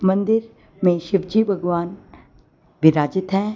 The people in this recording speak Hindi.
मंदिर में शिव जी भगवान विराजित है।